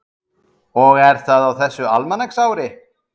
Þórhallur Jósefsson: Og er það á þessu almanaksári?